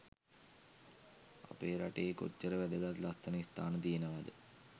අපේ රටේ කොච්චර වැදගත් ලස්සන ස්ථාන තියෙනවාද?